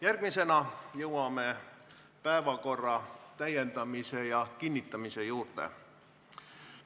Järgmisena jõuame päevakorra täiendamise ja kinnitamise juurde.